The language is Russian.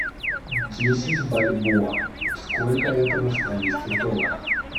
десять бальбоа сколько это в австралийских долларах